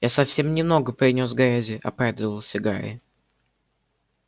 я совсем немного принёс грязи оправдывался гарри